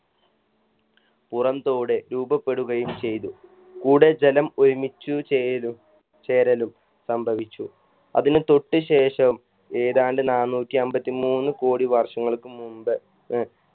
പുറം തോട് രൂപപ്പെടുകയും ചെയ്തു കൂടെ ജലം ഒരുമിച്ചു ചേരു ചേരലും സംഭവിച്ചു അതിന് തൊട്ട് ശേഷം ഏതാണ്ട് നാനൂറ്റി അമ്പത്തി മൂന്ന് കോടി വർഷങ്ങൾക്ക് മുമ്പ് ഏർ